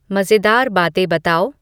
मज़ेदार बातें बताओ